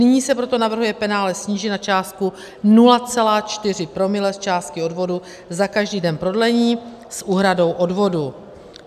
Nyní se proto navrhuje penále snížit na částku 0,4 promile z částky odvodu za každý den prodlení s úhradou odvodu.